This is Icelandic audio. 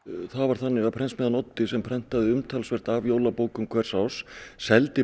það þannig að prentsmiðjan Oddi sem prentaði umtalsvert af jólabókum hvers árs seldi